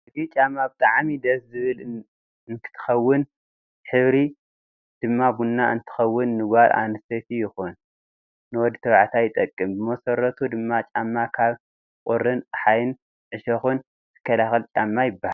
እዚ ጫማ ብጣዓሚ ድስ ዝብል ንትከውን ሕብሪ ድማ ቡኒ እንትከውን ንጋል ኣንስተይቲ ይኩን ንወዲ ተባዕታይ ይጠቅም ብመሰረቱ ድማ ጫማ ካብ ቁሪን፣ ፀሓይን ፣እሾክን ዝካላከል ጫማ ይብሃል